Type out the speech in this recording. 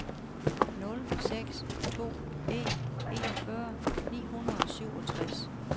nul seks to en enogfyrre ni hundrede og syvogtres